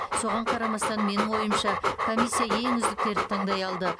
соған қарамастан менің ойымша комиссия ең үздіктерді таңдай алды